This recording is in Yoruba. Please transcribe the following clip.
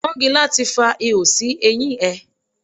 Pọ́ngilá ti fa ihò sí eyín ẹ.